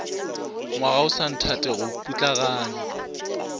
ngwaga o sa nthatego putlaganya